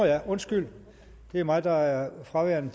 ja undskyld det er mig der er fraværende